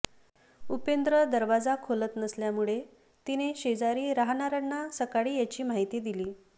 उपेंद्र दरवाजा खोलत नसल्यामुळे तिने शेजारी राहणाऱ्यांना सकाळी याची माहिती दिली